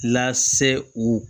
Lase u